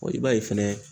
i b'a ye fɛnɛ